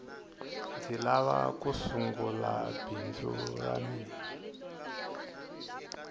ndzi lava ku sungula bindzu ra mina